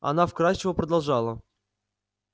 она вкрадчиво продолжала